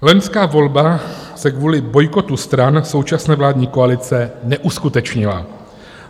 Loňská volba se kvůli bojkotu stran současné vládní koalice neuskutečnila.